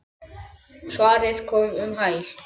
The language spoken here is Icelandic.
Svarið kom um hæl.